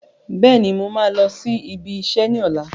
Bẹ́ẹ̀ni, mo máa lọ sí ibi iṣẹ́ ni ọ̀la.